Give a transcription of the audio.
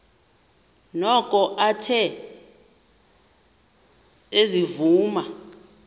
noko athe ezivuma